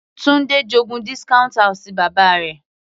Tunde j'ogún discount house bàbá rẹ̀.